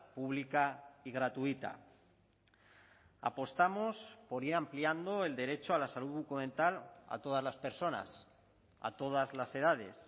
pública y gratuita apostamos por ir ampliando el derecho a la salud bucodental a todas las personas a todas las edades